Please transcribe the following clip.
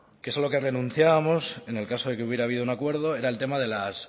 que eso es a lo que renunciábamos en el caso de que hubiera habido un acuerdo era el tema de las